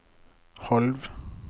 halv